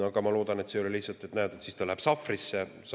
Ja ma loodan, et see ei ole lihtsalt selline, et ta läheb sahvrisse.